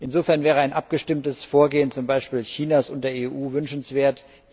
Insofern wäre ein abgestimmtes Vorgehen zum Beispiel Chinas und der EU wünschenswert.